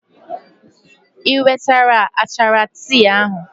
I wetara achara tii ahụ?